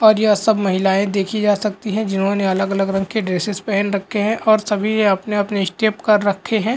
और यह सब महिलाएं देखी जा सकती हैं जिन्होंने अलग-अलग रंग के ड्रेसेस पहन रखे हैं और सभी वे अपने अपने स्टेप कर रखे हैं।